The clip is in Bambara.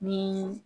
Ni